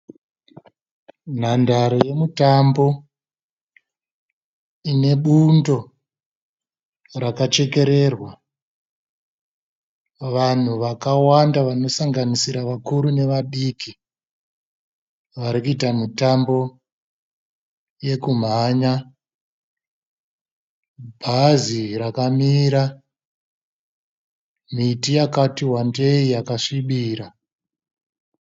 Nhandare yemitambo ine bundo rakachekererwa. Vanhu vakawanda vanosanganisira vakuru nevadiki vari kuita mitambo yekumhanya. Bhazi rakamira. Miti yakati wandei yakasvibira.